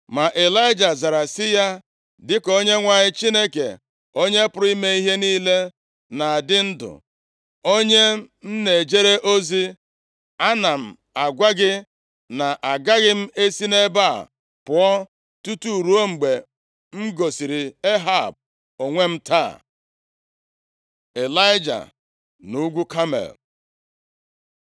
Ma Ịlaịja zara sị ya, “Dịka Onyenwe anyị Chineke Onye pụrụ ime ihe niile na-adị ndụ, onye m na-ejere ozi, ana m agwa gị na agaghị m esi nʼebe a pụọ tutu ruo mgbe m gosiri Ehab onwe m taa.” Ịlaịja nʼugwu Kamel